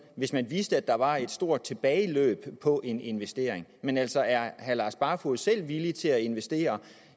hvis man vidste at der var et stort tilbageløb på en investering men altså er herre lars barfoed selv villig til at investere